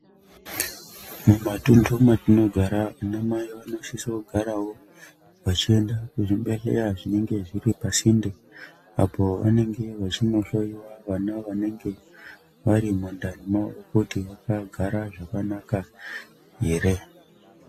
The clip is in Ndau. Mumatunhu matinogara, anamai vanosisa kugarawo vachienda kuzvibhedhlera zvinenge zviri pasinde, apo vanenge vachinohloiwa ,vana vanenge vari mundani mavo, kuti vakagara zvakanaka here.